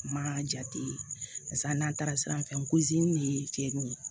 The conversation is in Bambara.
Ma jate paseke n'an taara sira fɛ ye cɛnniw ye